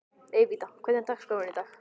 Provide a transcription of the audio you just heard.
Evíta, hvernig er dagskráin í dag?